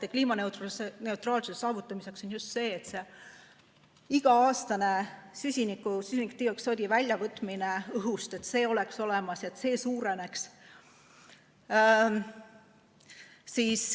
Ja kliimaneutraalsuse saavutamiseks on vajalik, et iga-aastane süsinikdioksiidi väljavõtmine õhust oleks olemas ja see ka suureneks.